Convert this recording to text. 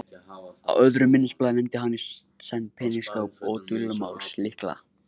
Á öðru minnisblaði nefndi hann í senn peningaskáp og dulmálslykla.